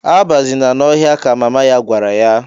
"Abazina n'ọhịa!" ka mama ya gwara ya.